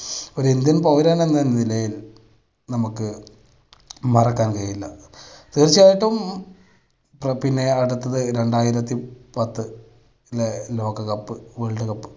ഒരു ഇന്ത്യൻ പൗരൻ എന്ന നിലയിൽ നമുക്ക് മറക്കാൻ കഴിയില്ല. തീർച്ചയായിട്ടും പിന്നെ അടുത്തത് രണ്ടായിരത്തിപത്തിലെ ലോക cup world cup